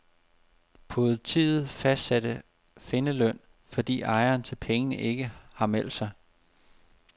Politiet fastsatte findeløn, fordi ejeren til pengene ikke har meldt sig.